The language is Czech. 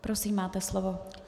Prosím, máte slovo.